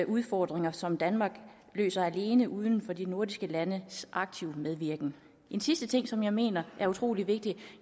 udfordringer som danmark løser alene uden de andre nordiske landes aktive medvirken en sidste ting som jeg mener er utrolig vigtig